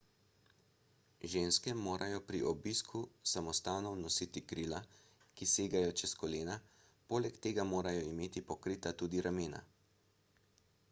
ženske morajo pri obisku samostanov nositi krila ki segajo čez kolena poleg tega morajo imeti pokrita tudi ramena